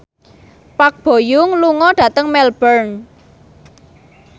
Park Bo Yung lunga dhateng Melbourne